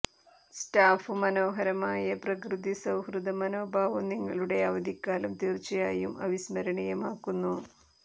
staff മനോഹരമായ പ്രകൃതി സൌഹൃദ മനോഭാവം നിങ്ങളുടെ അവധിക്കാലം തീർച്ചയായും അവിസ്മരണീയമാക്കുന്നു